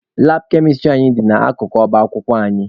Labụ kemịstrị anyị dị n'akụkụ ọba akwụkwọ anyị.